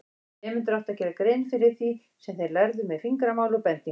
Nemendur áttu að gera grein fyrir því sem þeir lærðu með fingramáli og bendingum.